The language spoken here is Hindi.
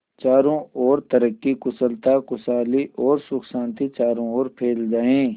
चारों और तरक्की कुशलता खुशहाली और सुख शांति चारों ओर फैल जाए